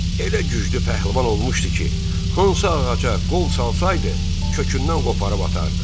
Elə güclü pəhlivan olmuşdu ki, hansı ağaca qol salsaydı, kökündən qoparıb atardı.